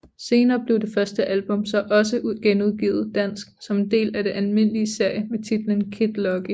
Senere blev det første album så også genudgivet dansk som en del af den almindelige serie med titlen Kid Lucky